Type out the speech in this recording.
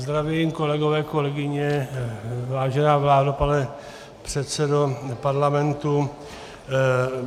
Zdravím, kolegové, kolegyně, vážená vládo, pane předsedo parlamentu.